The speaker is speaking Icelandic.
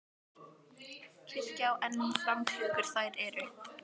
Kirkja á enn um fram klukkur þær er þau